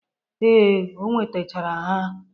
Ee, o wetachara ha.